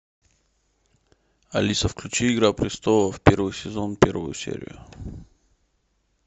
алиса включи игра престолов первый сезон первую серию